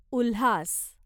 Ulhas